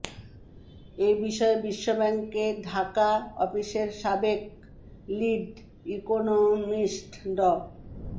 এ বিষয়ে বিশ্বব্যাংকের ঢাকা অফিসের সাবেক লিড ইকোনমিস্ট ড